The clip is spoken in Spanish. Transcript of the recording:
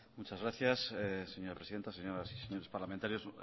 muchas gracias señora presidenta señores y señoras parlamentarios